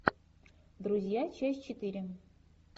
друзья часть четыре